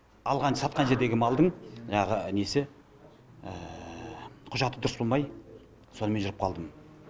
алған сатқан жердегі малдың жаңағы несі құжаты дұрыс болмай сонымен жүріп қалдым